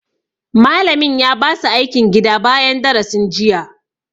Malamin ya ba su aikin gida bayan darasin sa jiya